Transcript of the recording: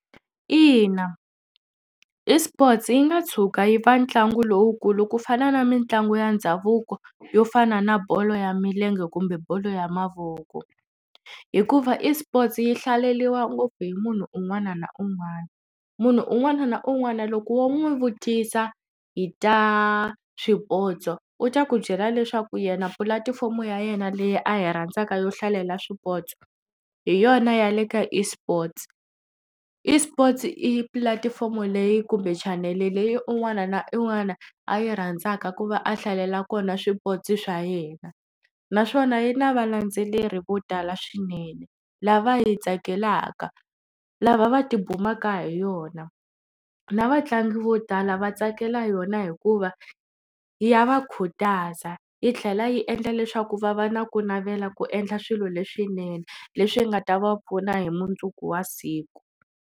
Ina, eSports yi nga tshuka yi ve ntlangu lowukulu ku fana na mitlangu ya ndhavuko yo fana na bolo ya milenge kumbe bolo ya mavoko hikuva eSports yi hlaleriwa ngopfu hi munhu un'wana na un'wana. Munhu un'wana na un'wana loko wo n'wi vutisa hi ta swipotso u ta ku byela leswaku yena pulatifomo ya yena leyi a hi rhandzaka yo hlalela swipotso hi yona ya le ka eSports. eSports i pulatifomo leyi kumbe chanele leyi un'wana na un'wana a yi rhandzaka ku va a hlalela kona swipotso swa yena naswona yi na valendzeleri vo tala swinene lava yi tsakelaka lava va tibumaka hi yona na vatlangi vo tala va tsakela yona hikuva ya va khutaza yi tlhela yi endla leswaku va va na ku navela ku endla swilo leswinene leswi nga ta va pfuna hi mundzuku wa siku.